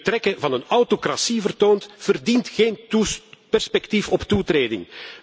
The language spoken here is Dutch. Wie de trekken van een autocratie vertoont, verdient geen perspectief op toetreding.